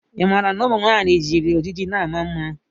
Ị maara na ụmụ nwanyị jiri ojiji na ama mma?